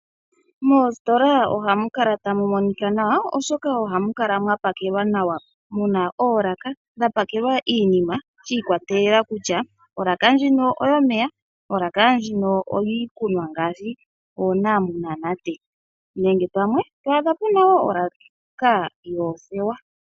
Moositola ohamu kala tamu monika nawa oshoka ohamu kala mwapakelwa nawa muna oolaka mwapakelwa iinima shiikwatelela kutya olaka ndjika oyomeya, olaka ndjika oyiikunwa ngaashi oonanate nenge pamwe to adha puna pamwe olaaka dhoothewa.